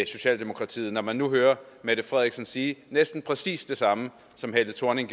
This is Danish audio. socialdemokratiet når man nu hører mette frederiksen sige næsten præcis det samme som helle thorning